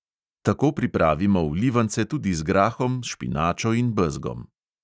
Tako pripravimo vlivance tudi z grahom, špinačo in bezgom.